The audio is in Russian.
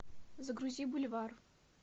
загрузи бульвар